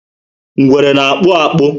Ngwere na- akpu akpu